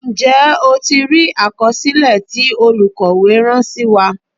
Ǹjẹ́ o ti rí àkọsílẹ̀ tí olukowe rán sí wa.